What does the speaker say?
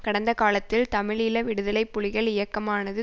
கடந்த காலத்தில் தமிழீழ விடுதலை புலிகள் இயக்கமானது